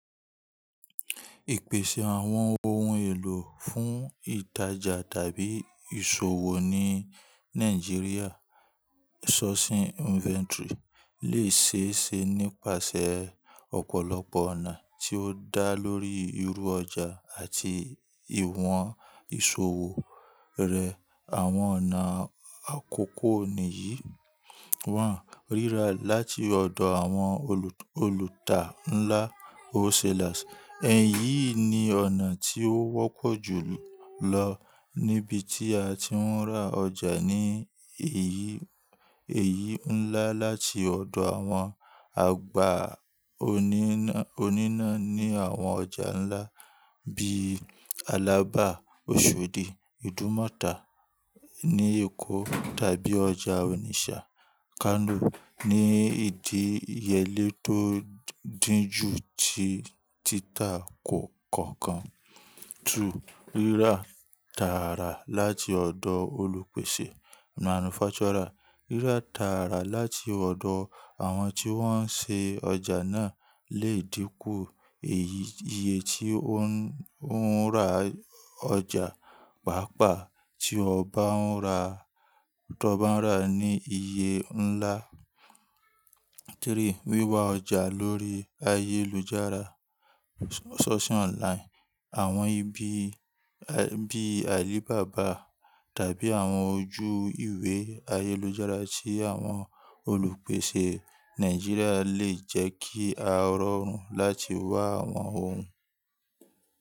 Ìpèsè àwọn ohun èlò fún ìtajà tàbí ìṣòwò ní Nàìjíríà, sourcing inventory lè ṣe é ṣe nípasẹ̀ ọ̀pọ̀lọpọ̀ ọ̀nà tí ó dá lórí irú ọjà àti ìwọ̀n ìṣòwò rẹ̀. Àwọn ọ̀nà àkọ́kọ́ nìyí: wọ́n ríra láti ọ̀dọ̀ àwọn olùtà ńlá wholesalers. Ẹ̀yí ni ọ̀nà tí ó wọ́pọ̀ jù lọ níbi tí a ti ń ra ọjà ní èyí ńlá láti ọ̀dọ̀ àwọn àgbà oníná ní àwọn ọjà ńlá bí i Alábà, Oṣòdì, Idumota ní Èkó tàbí ọjà Onitsha, Kano ní ìdíyele tó dínjú tí títà kọ̀ọ̀kan. Ríra tààrà láti ọ̀dọ̀ olùpèsè manufacturer. Ríra tààrà láti ọ̀dọ̀ àwọn tí wọ́n ṣe ọjà náà lè dínkù iye tí ó ń ra ọjà, pàápàá tí ọ bá ń ra ní iye ńlá. Wíwa ọjà lórí ayélujára source online. Àwọn ibi bíi Alibaba tàbí àwọn ojú ìwé ayélujára tí àwọn olùpèsè Nàìjíríà lè jẹ́ kí a rọrùn láti wá àwọn ohun.